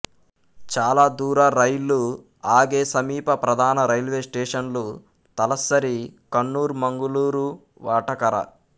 చాలా దూర రైళ్లు ఆగే సమీప ప్రధాన రైల్వే స్టేషన్లు తలస్సరీ కన్నూర్ మంగుళూరు వటకర